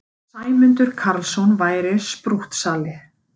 Að Sæmundur Karlsson væri sprúttsali!